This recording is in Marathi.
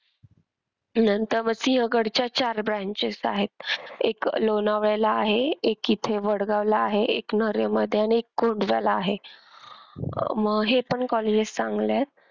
नंतर मग सिंहगड च्या चार branches आहेत एक लोणावळ्याला आहे एक इथे वडगाव ला आहे एक नर्हे मध्ये आणि एक कोंढव्याला आहे. अह मग हे पण colleges चांगले आहेत.